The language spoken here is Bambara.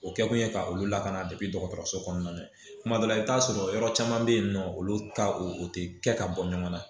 O kɛkun ye ka olu lakana de dɔgɔtɔrɔso kɔnɔna na kuma dɔ la i bɛ t'a sɔrɔ yɔrɔ caman bɛ yen nɔ olu ta o tɛ kɛ ka bɔ ɲɔgɔn na